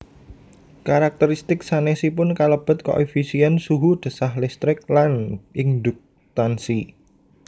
Karakteristik sanésipun kalebet koefisién suhu desah listrik lan induktansi